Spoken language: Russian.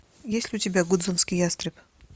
есть ли у тебя гудзонский ястреб